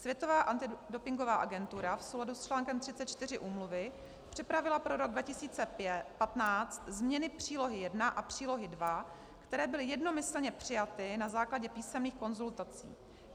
Světová antidopingová agentura v souladu s článkem 34 úmluvy připravila pro rok 2015 změny Přílohy I a Přílohy II, které byly jednomyslně přijaty na základě písemných konzultací.